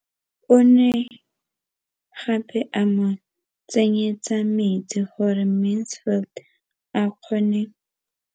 O ne gape a mo tsenyetsa metsi gore Mansfield a kgone go lema.